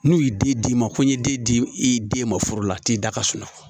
N'u y'i den d'i ma ko n ye den di i den ma furu la t'i da ka suma